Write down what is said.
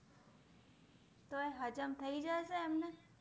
તો એ હજામ થઇ જાય છે એમને